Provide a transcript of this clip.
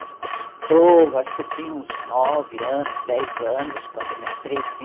Mas custou, acho que eu tinha uns nove anos, dez anos, quando eu me atrevi.